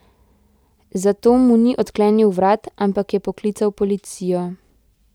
Zato mu ni odklenil vrat, ampak je poklical policijo.